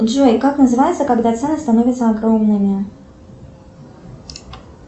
джой как называется когда цены становятся огромными